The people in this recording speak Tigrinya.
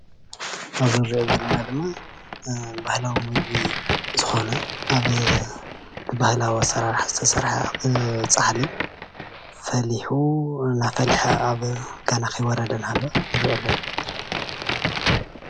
ኣብዚ እንሪኦ ዘለና ድማ ባህላዊ ምግቢ ዝኮነ ኣብ ባህለዊ ኣሰራርሓ ዝተሰርሐ ፃሕሊ እናፈለሐ እናሃለወ ገና ከይወረደ እንዳሃለወ እንሪኢ ኣለና፡፡